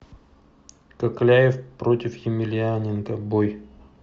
кокляев против емельяненко бой